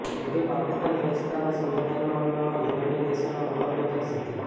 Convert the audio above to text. જેથી પાકિસ્તાન સ્વચ્છતા અને સુંદરતાના મામલામાં યુરોપીયન દેશનો મુકાબલો કરી શકે